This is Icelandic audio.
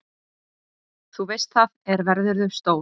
Þú veist það, er verðurðu stór.